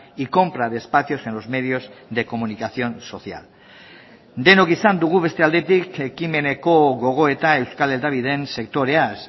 y compra de espacios en los medios de comunicación social denok izan dugu beste aldetik ekimeneko gogoeta euskal hedabideen sektoreaz